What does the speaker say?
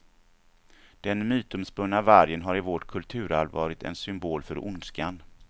Den mytomspunna vargen har i vårt kulturarv varit en symbol för ondskan.